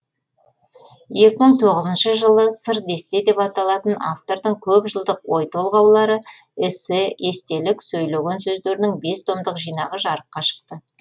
екі мың тоғызыншы жылы сыр десте деп аталатын автордың көп жылдық ой толғаулары эссе естелік сөйлеген сөздерінің бес томдық жинағы жарыққа шықты